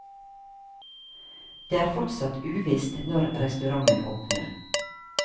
Det er fortsatt uvisst når restauranten åpner.